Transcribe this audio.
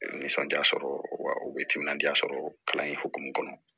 Nisɔndiya sɔrɔ wa u bɛ timinadiya sɔrɔ kalan in hokumu kɔnɔ